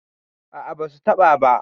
a a ba su taɓa ba